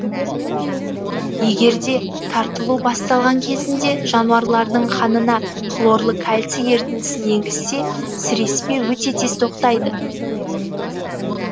егерде тартылу басталған кезінде жануарлардың қанына хлорлы кальций ерітіндісін енгізсе сіреспе өте тез тоқтайды